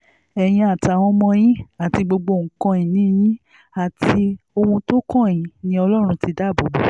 ẹ̀yin àtàwọn ọmọ yín àti gbogbo nǹkan-ìní yín àti ohun tó kàn yín ni ọlọ́run ti dáàbò bò